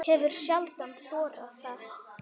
Hefur sjaldan þorað það.